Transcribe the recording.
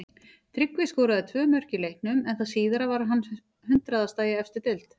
Tryggvi skoraði tvö mörk í leiknum en það síðara var hans hundraðasta í efstu deild.